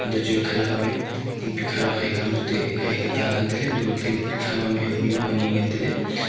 ito chu khanyak am me ting pikha du haikyam chu te haika tah ngantaile antole ting pikha ma mihua mihuak ani ngan taile.